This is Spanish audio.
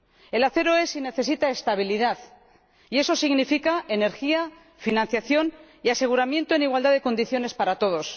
El acero es y necesita estabilidad y eso significa energía, financiación y aseguramiento en igualdad de condiciones para todos.